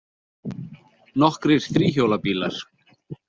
Nokkrir þríhjóla bílar.